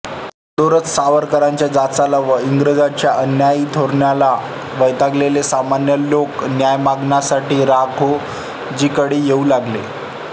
अगोदरच सावकारांच्या जाचाला व इंग्रजांच्या अन्यायी धोरणाला वैतागलेले सामान्य लोक न्याय मागण्यासाठी राघोजीकडे येऊ लागले